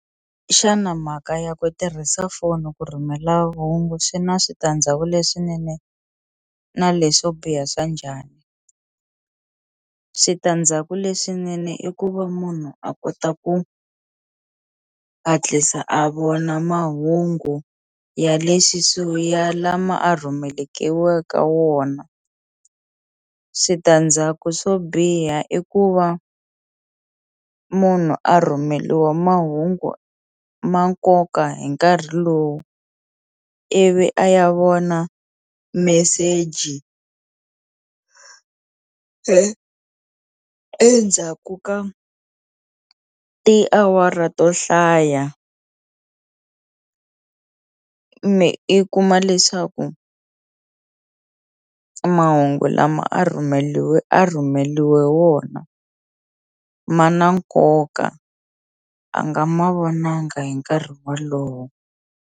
Xana mhaka ya ku tirhisa foni ku rhumela hungu swi na switandzhaku leswinene na leswo biha swa njhani switandzhaku leswinene i ku va munhu a kota ku a hatlisa a vona mahungu ya le swi swo ya lama a rhumeke wo ka wona switandzhaku swo biha i ku va munhu a a rhumeliwa mahungu ma nkoka hi nkarhi lowu ivi a ya vona meseji endzhaku ka i tiawara to hlaya i kuma leswaku mahungu lama a rhumeliwe a rhumeliwe wona ma na nkoka a nga ma vonanga hi nkarhi wolowo.